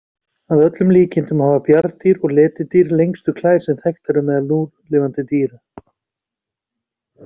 Að öllum líkindum hafa bjarndýr og letidýr lengstu klær sem þekktar eru meðal núlifandi dýra.